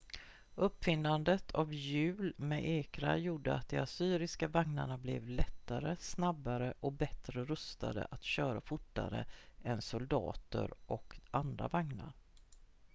uppfinnandet av hjul med ekrar gjorde att de assyriska vagnarna blev lättare snabbare och bättre rustade att köra fortare än soldater och andra vagnar